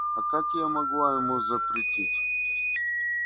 а как я могла ему запретить